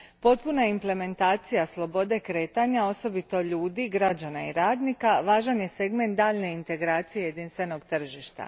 Potpuna implementacija slobode kretanja, osobito ljudi, građana i radnika važan je segment daljnje integracije jedinstvenog tržišta.